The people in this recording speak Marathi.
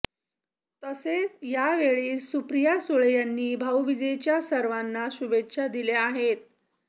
तसेच यावेळी सुप्रिया सुळे यांनी भाऊबीजेच्या सर्वांना शुभेच्छा दिल्या आहेत